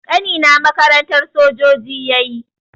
Ƙanina makarantar sojoji yayi